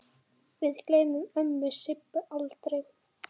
Við gleymum ömmu Sibbu aldrei.